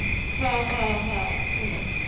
হ্যাঁ হ্যাঁ হ্যাঁ চিনি